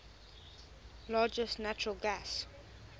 largest natural gas